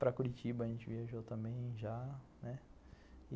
Para Curitiba a gente viajou também já, né?